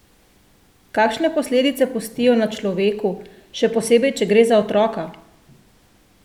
Kakšne posledice pustijo na človeku, še posebej če gre za otroka?